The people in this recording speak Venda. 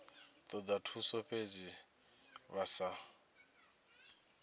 toda thuso fhedzi vha sa